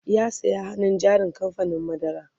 ya saya hannun jarin kamfanin madara